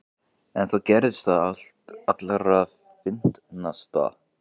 En þá gerðist það allra fyndnasta.